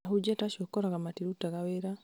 ahunjia ta acio ũgakora matirutaga wĩra